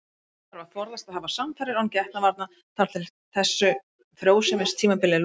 Síðan þarf að forðast að hafa samfarir án getnaðarvarna þar til þessu frjósemistímabili er lokið.